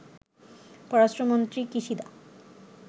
পররাষ্ট্রমন্ত্রী কিশিদা